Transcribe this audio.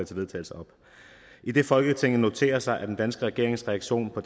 til vedtagelse idet folketinget noterer sig den danske regerings reaktion på